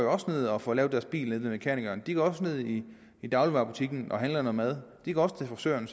også ned og får lavet deres bil ved mekanikeren de går også ned i i dagligvarebutikkerne og handler noget mad de går også til frisøren